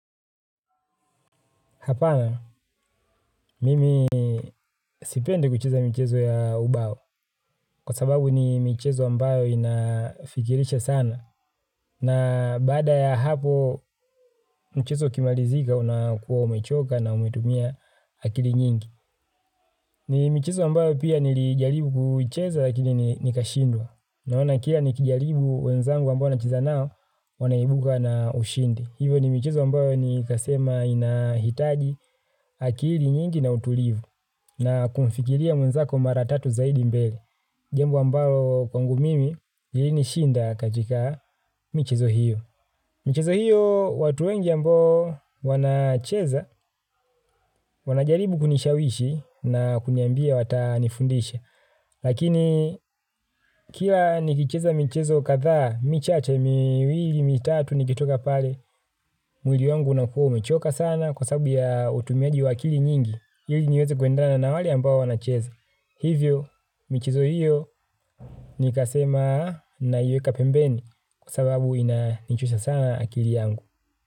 Hapana, mimi sipendi kucheza michezo ya ubao kwa sababu ni michezo ambayo inafikirisha sana na baada ya hapo mchezo ukimarizika unakuwa umechoka na umetumia akili nyingi. Ni michezo ambayo pia nilijaribu kucheza lakini nikashindwa naona kila nikijalibu wenzangu ambayo nacheza nao wanaibuka na ushindi. Hivo ni michezo ambayo nikasema inahitaji akili nyingi na utulivu na kumfikiria mwenzako mara tatu zaidi mbele. Jambo ambayo kwangu mimi, ilinishinda katika michezo hiyo. Michezo hiyo watu wengi ambao wanacheza, wanajaribu kunishawishi na kuniambia watanifundisha. Lakini kila nikicheza michezo kadhaa, michache miwili mitatu, nikitoka pale, mwili wangu unakuwa umechoka sana kwa sabu ya utumiaji wa akili nyingi. Hili niweze kuendana na wale ambao wanacheze. Hivyo, michezo hiyo nikasema naiweka pembeni kwa sababu inanichosha sana akili yangu.